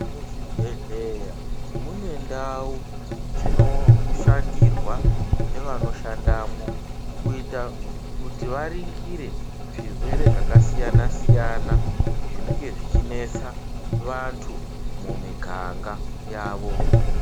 Muzvibhedhleya, mune ndau, dzinoshandirwa nevanoshandamwo, kuita kuti varingire, zvirwere zvakasiyana-siyana, zvinenge zvichinesa vanthu mumiganga yavo.